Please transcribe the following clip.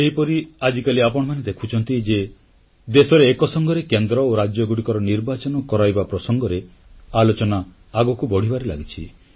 ଏହିପରି ଆଜିକାଲି ଆପଣମାନେ ଦେଖୁଛନ୍ତି ଯେ ଦେଶରେ ଏକସଂଗରେ କେନ୍ଦ୍ର ଓ ରାଜ୍ୟଗୁଡ଼ିକର ନିର୍ବାଚନ କରାଇବା ପ୍ରସଙ୍ଗରେ ଆଲୋଚନା ଆଗକୁ ବଢ଼ିବାରେ ଲାଗିଛି